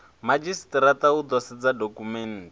madzhisitirata u ḓo sedza dokhumenthe